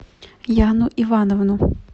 яну ивановну